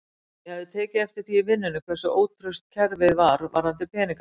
Ég hafði tekið eftir því í vinnunni hversu ótraust kerfið var varðandi peningasendingar.